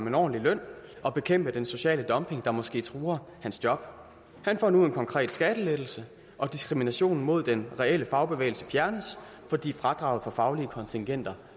en ordentlig løn og bekæmpe den sociale dumping der måske truer hans job han får nu en konkret skattelettelse og diskriminationen mod den reelle fagbevægelse fjernes fordi fradraget for faglige kontingenter